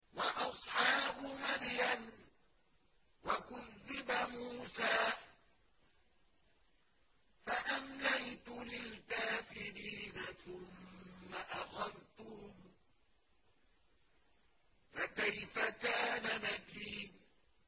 وَأَصْحَابُ مَدْيَنَ ۖ وَكُذِّبَ مُوسَىٰ فَأَمْلَيْتُ لِلْكَافِرِينَ ثُمَّ أَخَذْتُهُمْ ۖ فَكَيْفَ كَانَ نَكِيرِ